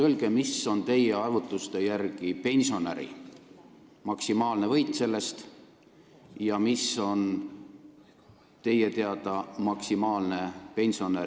Öelge, kui suur on teie arvutuste järgi pensionäri maksimaalne võit ja maksimaalne kaotus selle meetme tulemusena.